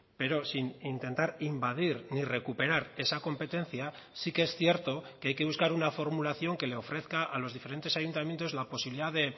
pero sin intentar invadir ni recuperar esa competencia sí que es cierto que hay que buscar una formulación que le ofrezca a los diferentes ayuntamientos la posibilidad de